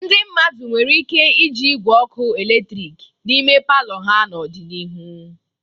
Ndị mmadụ nwere ike iji igwe ọkụ eletrik n'ime palọ ha n'ọdịnihu.